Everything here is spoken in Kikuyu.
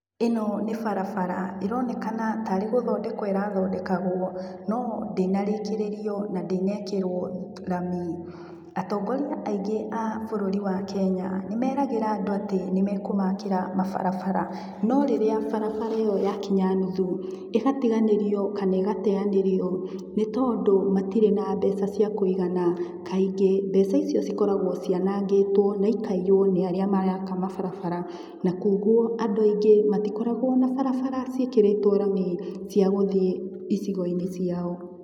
Ino nĩ barabara ĩronekana tarĩ gũthodekwo ĩrathondekagwo no ndĩnarĩkĩrĩrio na ndĩnekĩrwo rami. Atongoria aingĩ a bũrũri wa Kenya nĩmeragĩra andũ atĩ nĩmekũmakĩra mabarabara no rĩrĩa barabara ĩyo ya kinya nuthu ĩgatiganĩrio kana igateanĩrio nĩtondũ matirĩ na mbeca cia kũigana Kaingĩ mbeca icio cikoragwo cianangĩtwo na ikaiyuo nĩ arĩa maraka ma barabara nakoguo andũ aingĩ matikoragwo na barabara ciĩkĩrĩtwo rami ciagũthiĩ icigoinĩ ciao.